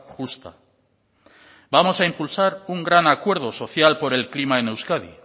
justa vamos a impulsar un gran acuerdo social por el clima en euskadi